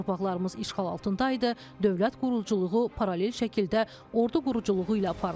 Torpaqlarımız işğal altında idi, dövlət quruculuğu paralel şəkildə ordu quruculuğu ilə aparılırdı.